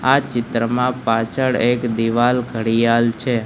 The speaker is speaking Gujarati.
આ ચિત્રમાં પાછળ એક દિવાલ ઘડિયાલ છે.